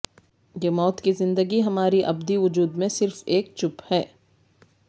یہ موت کی زندگی ہماری ابدی وجود میں صرف ایک چپ ہے